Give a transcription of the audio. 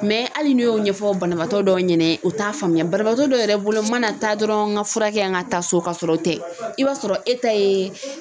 hali ni y'o ɲɛfɔ banabaatɔ dɔw ɲɛna u t'a faamuya banabaatɔ dɔw yɛrɛ bolo mana taa dɔrɔn ka furakɛ an ka taa so ka sɔrɔ o tɛ i b'a sɔrɔ e ta ye